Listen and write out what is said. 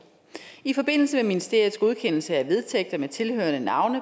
i forbindelse med ministeriets godkendelse af vedtægter med tilhørende navne